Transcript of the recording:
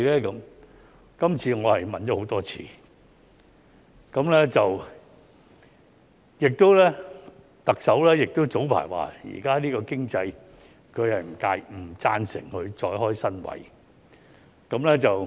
"這次我問了很多次，而特首早前說，在現時的經濟下，她不贊成再開設新職位。